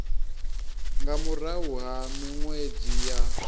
nga murahu ha minwedzi ya